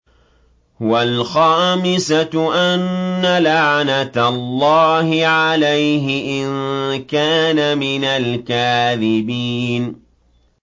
وَالْخَامِسَةُ أَنَّ لَعْنَتَ اللَّهِ عَلَيْهِ إِن كَانَ مِنَ الْكَاذِبِينَ